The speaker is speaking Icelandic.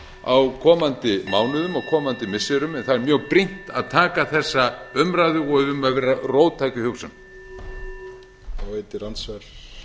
á komandi mánuðum og komandi missirum en það er mjög brýnt að taka þessa umræðu og við eigum að vera róttæk í hugsun